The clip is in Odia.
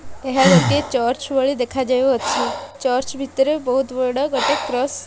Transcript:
ଏହା ଗୋଟେ ଚର୍ଚ୍ଚ ଭଳି ଦେଖାଯାଉଅଛି ଚର୍ଚ୍ଚ ଭିତରେ ବହୁତ ବଡ଼ ଗୋଟେ କ୍ରସ --